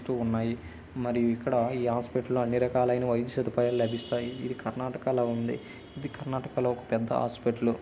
ఉన్నాయి మరియు ఇక్కడ ఈ హాస్పిటల్ లో అన్ని రకాలైన వైద్య సదుపాయాలు లభిస్తాయి ఇది కర్ణాటక ల ఉంది. ఇది కర్ణాటక లో పెద్ద హాస్పిటల్ .